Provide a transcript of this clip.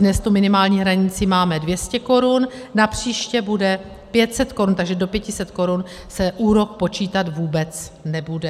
Dnes tu minimální hranici máme 200 korun, napříště bude 500 korun, takže do 500 korun se úrok počítat vůbec nebude.